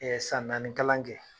san naani kalan kɛ